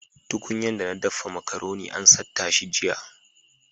Tuƙunyan dana daffa macaroni an satta shi jiya.